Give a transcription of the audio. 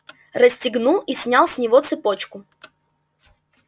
расстегнул и снял с него цепочку